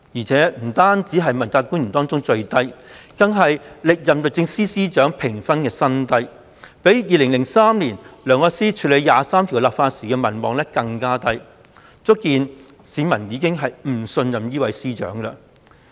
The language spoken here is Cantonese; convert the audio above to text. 這評分不單是問責官員中最低，更是歷任律政司司長評分的新低，比2003年梁愛詩處理就《基本法》第二十三條立法時的民望更低，足見市民已不信任司長。